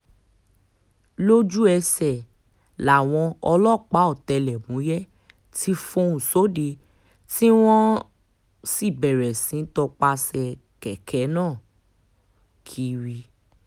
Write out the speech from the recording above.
lójú-ẹsẹ̀ làwọn ọlọ́pàá ọ̀tẹlẹ̀múyẹ́ ti fọ́n sóde tí wọ́n um sì bẹ̀rẹ̀ sí í tọpasẹ̀ kẹ̀kẹ́ náà um kiri